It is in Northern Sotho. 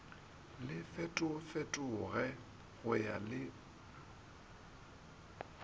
le fetofetoge go ya le